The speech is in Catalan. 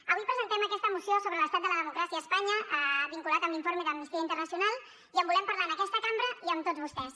avui presentem aquesta moció sobre l’estat de la democràcia a espanya vinculat amb l’informe d’amnistia internacional i en volem parlar en aquesta cambra i amb tots vostès